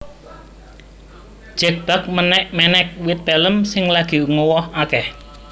Jack Bugg menek wit pelem sing lagi nguwoh akeh